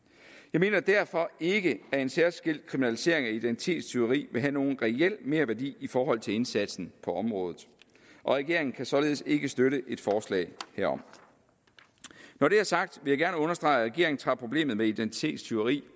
jeg mener derfor ikke at en særskilt kriminalisering af identitetstyveri vil have nogen reel merværdi i forhold til indsatsen på området og regeringen kan således ikke støtte et forslag herom når det er sagt vil jeg gerne understrege at regeringen tager problemet med identitetstyveri